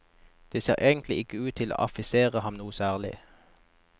Det ser egentlig ikke ut til å affisere ham noe særlig.